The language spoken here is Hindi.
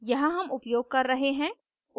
यहाँ हम उपयोग कर रहे हैं